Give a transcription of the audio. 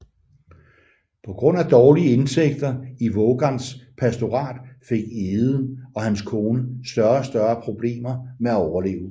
På grund af dårlige indtægter i Vågans pastorat fik Egede og hans kone større og større problemer med at overleve